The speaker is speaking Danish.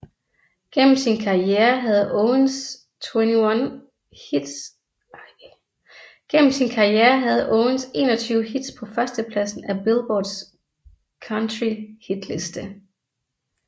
Gennem sin karriere havde Owens 21 hits på førstepladsen af Billboards Country Hitliste